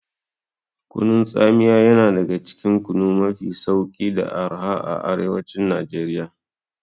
Kunun tsamiya yan daga cikin kunu mafi sauki da araha a arewacin Nigeria.